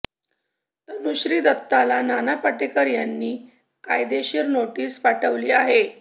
तनुश्री दत्ताला नाना पाटेकर यांनी कायदेशीर नोटीस पाठवली आहे